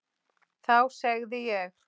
Þá segði ég